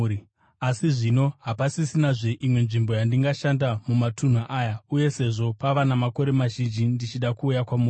Asi zvino hapasisinazve imwe nzvimbo yandingashanda mumatunhu aya, uye sezvo pava namakore mazhinji ndichida kuuya kwamuri,